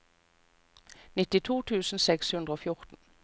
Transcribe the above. nittito tusen seks hundre og fjorten